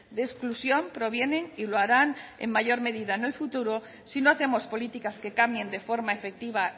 de exclusión provienen y lo harán en mayor medida en el futuro si no hacemos políticas que cambien de forma efectiva